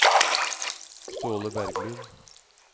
Ståle Berglund